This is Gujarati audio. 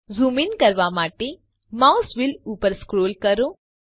ઝૂમ ઇન કરવા માટે માઉસ વ્હીલ ઉપર સ્ક્રોલ કરો